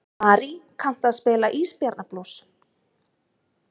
Marí, kanntu að spila lagið „Ísbjarnarblús“?